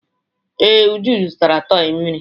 Ee, Uju zụtara tọị mmiri.